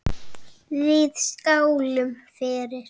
Við skálum fyrir